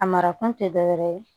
A marakun tɛ dɔwɛrɛ ye